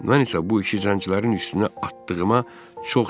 Mən isə bu işi zəncilərin üstünə atdığıma çox sevindim.